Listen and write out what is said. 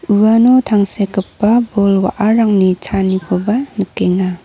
uano tangsekgipa bol wa·arangni chaanikoba nikenga.